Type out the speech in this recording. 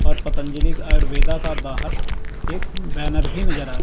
और पतंजलिक आयुर्वेदा का बाहर एक बैनर भी नजर आ रहा--